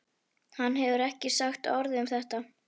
Hann hefur ekki sagt orð um þetta.